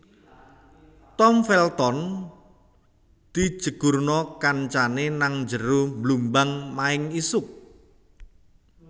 Tom Felton dijegurno kancane nang njero blumbang maeng isuk